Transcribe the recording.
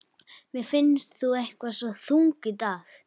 Mér finnst þú eitthvað svo þung í dag.